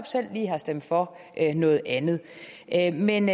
selv har stemt for noget andet andet men